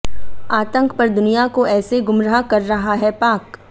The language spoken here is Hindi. आतंक पर दुनिया को ऐसे गुमराह कर रहा है पाक